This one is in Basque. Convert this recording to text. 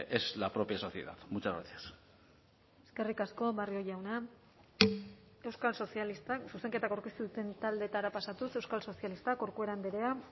es la propia sociedad muchas gracias eskerrik asko barrio jauna euskal sozialistak zuzenketak aurkeztu duten taldeetara pasatuz euskal sozialistak corcuera andrea